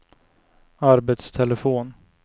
arbetstelefon